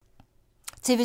TV 2